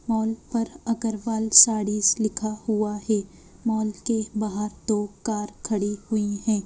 Mall पर अग्रवाल साड़ीज लिखा हुआ है मॉल के बाहर दो कार खड़ी हुई है।